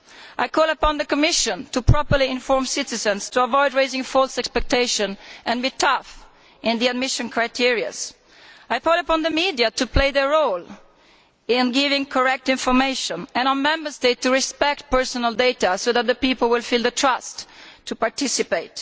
I call upon the Commission to properly inform citizens to avoid raising false expectations, and to be tough as regards the admission criteria. I call upon the media to play their role in giving correct information, and on Member States to respect personal data so that the people will feel enough trust to participate.